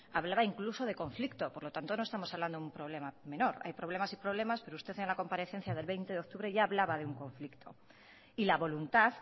hablaba incluso de conflicto por lo tanto no estamos hablando de un problema menor hay problemas y problemas pero usted en la comparecencia del veinte de octubre ya hablaba de un conflicto y la voluntad